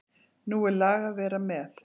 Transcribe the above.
Nú er lag að vera með!